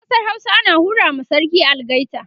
a ƙasar Hausa ana hura wa sarki algaita